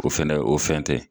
O fɛnɛ o fɛn tɛ